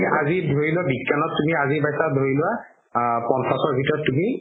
আজি ধৰি লোৱা বিজ্ঞানত তুমি আজি পাইছা ধৰি লোৱা আ পঞ্চাশৰ ভিতৰত তুমি